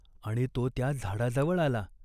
आणि तो त्या झाडाजवळ आला.